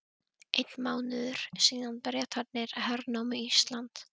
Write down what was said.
Einn mánuður síðan Bretarnir hernámu Ísland.